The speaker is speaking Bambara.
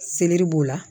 Selɛri b'o la